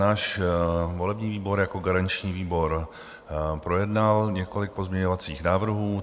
Náš volební výbor jako garanční výbor projednal několik pozměňovacích návrhů.